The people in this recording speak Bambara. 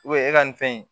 e ka nin fɛn in